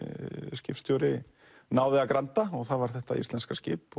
skipstjóri náði að granda og það var þetta íslenska skip